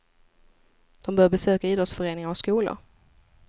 De bör besöka idrottsföreningar och skolor.